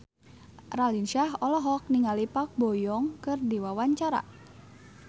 Raline Shah olohok ningali Park Bo Yung keur diwawancara